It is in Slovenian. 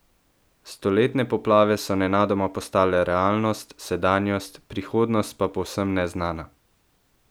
Stoletne poplave so nenadoma postale realnost, sedanjost, prihodnost pa povsem neznana.